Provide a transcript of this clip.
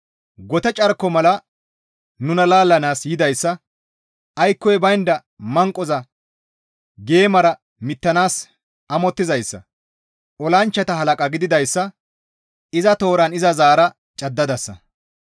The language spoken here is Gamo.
Gote carko mala nuna laallanaas yidayssa, aykkoy baynda manqoza geemara mittanaas amottizayssa, olanchchata halaqa gididayssa iza tooran iza zaara caddadasa.